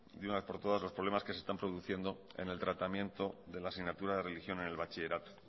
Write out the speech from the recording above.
de una vez por todas los problemas que se están produciendo en el tratamiento de la asignatura de religión en el bachillerato